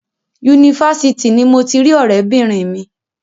Yunifásitì ni mo ti rí ọ̀rẹ́bìnrin mi.